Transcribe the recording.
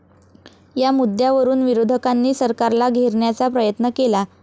या मुद्यावरुन विरोधकांनी सरकारला घेरण्याचा प्रयत्न केला.